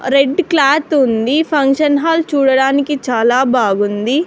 Red cloth ఉంది function hall చూడడానికి చాలా బాగుంది.